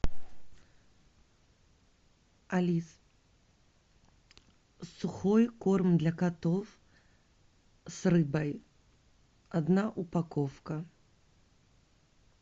алиса сухой корм для котов с рыбой одна упаковка